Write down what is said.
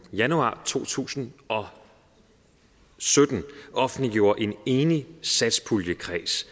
januar to tusind og sytten offentliggjorde en enlig satspuljekreds